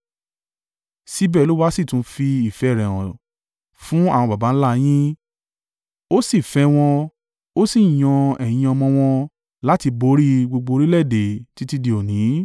Síbẹ̀ Olúwa sì tún fi ìfẹ́ rẹ̀ hàn fún àwọn baba ńlá a yín, Ó sì fẹ́ wọn Ó sì yan ẹ̀yin ọmọ wọn láti borí gbogbo orílẹ̀-èdè títí di òní.